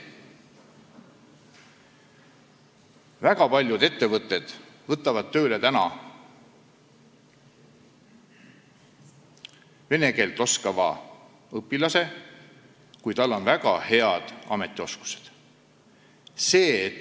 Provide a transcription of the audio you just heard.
Väga paljud ettevõtted võtavad tööle vene keelt oskava õpilase, kui tal on väga head ametioskused.